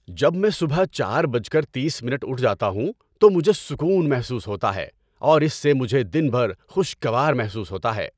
جب میں صبح چار بجے تیس منٹ اٹھ جاتا ہوں تو مجھے سکون محسوس ہوتا ہے اور اس سے مجھے دن بھر خوشگوار محسوس ہوتا ہے۔